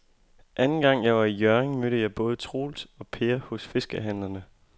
Anden gang jeg var i Hjørring, mødte jeg både Troels og Per hos fiskehandlerne.